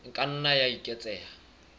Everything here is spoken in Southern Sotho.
e ka nna ya eketseha